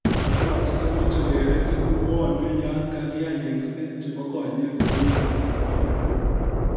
Cataracts chemoche koyech kobwone yan kagiyai yeng'set chebo konyek cehu glaucoma